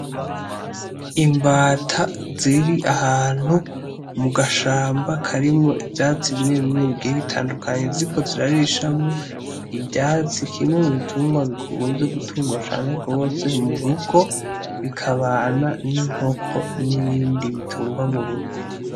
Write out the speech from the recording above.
Imbata ziri ahantu mugashamba karimwo ivyatsi bimwe bimwe bigiye bitandukanye ziriko zirarishamwo ivyatsi kimwe m'ubitungwa bikunze gutungwa cane gose murugo bikabana n'inkoko n'ibindi butungwa murugo.